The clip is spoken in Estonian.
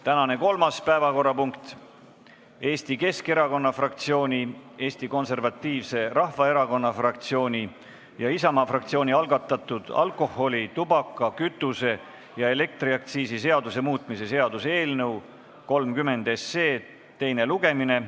Tänane kolmas päevakorrapunkt: Eesti Keskerakonna fraktsiooni, Eesti Konservatiivse Rahvaerakonna fraktsiooni ja Isamaa fraktsiooni algatatud alkoholi-, tubaka-, kütuse- ja elektriaktsiisi seaduse muutmise seaduse eelnõu 30 teine lugemine.